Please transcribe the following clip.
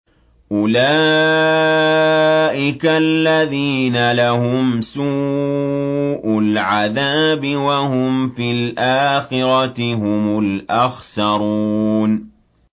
أُولَٰئِكَ الَّذِينَ لَهُمْ سُوءُ الْعَذَابِ وَهُمْ فِي الْآخِرَةِ هُمُ الْأَخْسَرُونَ